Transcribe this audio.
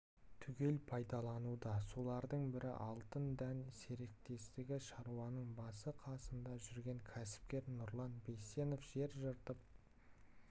түгел пайдалануда солардың бірі алтын дән серіктестігі шаруаның басы-қасында жүрген кәсіпкер нұрлан бисенов жер жыртып